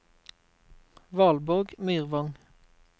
Valborg Myrvang